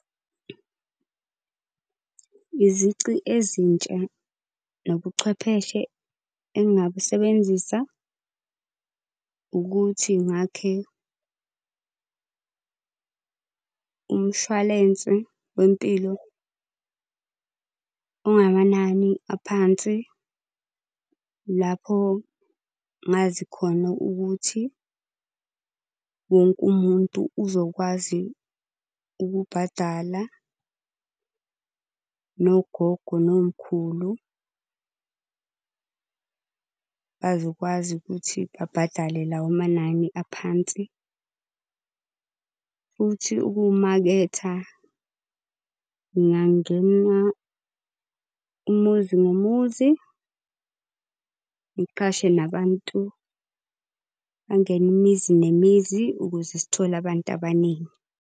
Izici ezintsha nobuchwepheshe engingabusebenzisa, ukuthi ngakhe umshwalense wempilo ongamanani aphansi lapho ngazi khona ukuthi wonke umuntu uzokwazi ukubhadala. Nogogo nomkhulu bazokwazi ukuthi babhadale lawo manani aphansi. Futhi ukuwumaketha ngingangena umuzi ngomuzi, ngiqhashe nabantu bangene imizi nemizi ukuze sithole abantu abaningi.